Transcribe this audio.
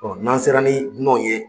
Ɔn n'an sera ni dunanw ye